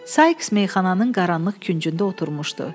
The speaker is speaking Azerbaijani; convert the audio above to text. Saiks meyxananın qaranlıq küncündə oturmuşdu.